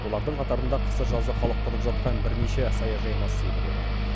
олардың қатарында қысы жазы халық тұрып жатқан бірнеше саяжай массиві де бар